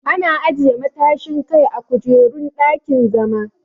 Ana ajiye matashin Kai a kujerun dakin-zama.